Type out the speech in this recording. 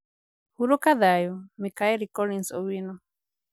Hurũka thayũ, Michael Collins Owino.